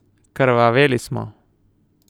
Krvaveli smo.